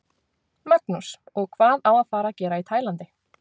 Magnús: Og hvað á að fara að gera í Tælandi?